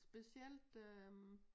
Specielt øh